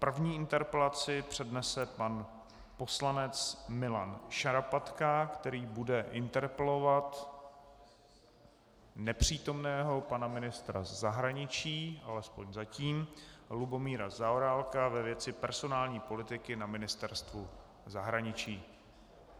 První interpelaci přednese pan poslanec Milan Šarapatka, který bude interpelovat nepřítomného pana ministra zahraničí, alespoň zatím, Lubomíra Zaorálka ve věci personální politiky na Ministerstvu zahraničí.